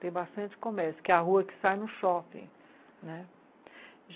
Tem bastante comércio, que é a rua que sai no shopping, né?